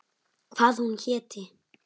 Hvað hún héti.